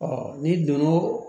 n'i donn'o